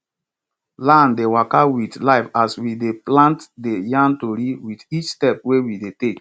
land dey waka wit life as we dey plant dey yarn tori wit each step wey we dey take